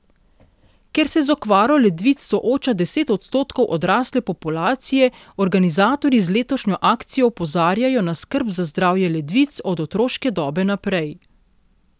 Ker se z okvaro ledvic sooča deset odstotkov odrasle populacije, organizatorji z letošnjo akcijo opozarjajo na skrb za zdravje ledvic od otroške dobe naprej.